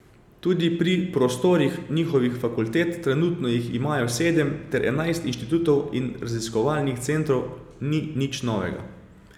Tudi pri prostorih njihovih fakultet, trenutno jih imajo sedem ter enajst inštitutov in raziskovalnih centrov, ni nič novega.